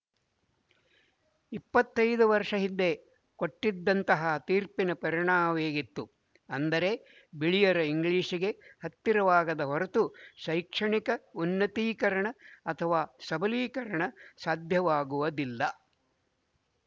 ಇಪ್ಪತ್ತ್ ಐದು ವರ್ಶ ಹಿಂದೆ ಕೊಟ್ಟಿದ್ದಂತಹ ತೀರ್ಪಿನ ಪರಿಣಾಮವೇಗಿತ್ತು ಅಂದರೆ ಬಿಳಿಯರ ಇಂಗ್ಲಿಶ‍ಗೆ ಹತ್ತಿರವಾಗದ ಹೊರತು ಶೈಕ್ಷಣಿಕ ಉನ್ನತೀಕರಣ ಅಥವಾ ಸಬಲೀಕರಣ ಸಾಧ್ಯವಾಗುವುದಿಲ್ಲ